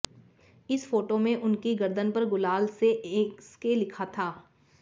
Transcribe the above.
इस फोटो में उनकी गर्दन पर गुलाल से एसके लिखा था